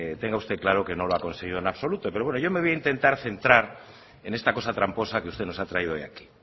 tenga usted claro que no lo ha conseguido en absoluto pero bueno yo me voy a intentar centrar en esta cosa tramposa que usted nos ha traído hoy aquí